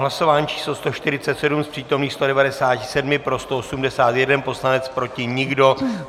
Hlasování číslo 147, z přítomných 197 pro 181 poslanec, proti nikdo.